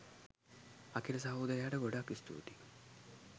අකිල සහෝදරයට ගොඩක් ස්තුතියි